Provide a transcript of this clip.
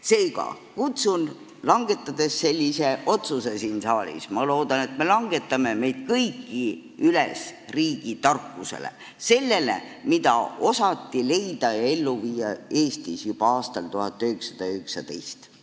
Seega, kui me langetame sellise otsuse siin saalis – ma loodan, et me langetame –, siis kutsun meid kõiki üles riigitarkusele, sellele, mida osati Eestis leida ja ellu viia juba aastal 1919.